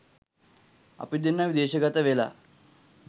අපි දෙන්න විදේශගතවෙලා